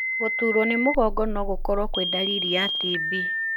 Gũturwo nĩ mũgongo no gũkorwo kwĩ ndariri ya TB.